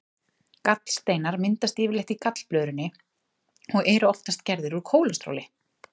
Gallsteinar myndast yfirleitt í gallblöðrunni og eru oftast gerðir úr kólesteróli.